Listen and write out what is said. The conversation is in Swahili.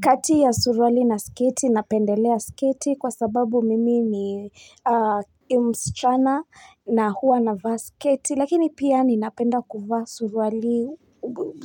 Kati ya surwali na sketi napendelea sketi kwa sababu mimi ni mschana na huwa na vaa sketi lakini pia ninapenda kuvaa surwali